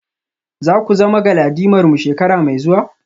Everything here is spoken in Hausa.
Za ku zama galadimarmu shekara mai zuwa?